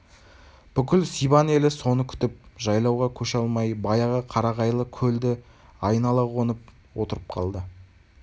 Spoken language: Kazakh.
бүкіл сибан елі соны күтіп жайлауға көше алмай баяғы қарағайлы көлді айнала қонып отырып қалды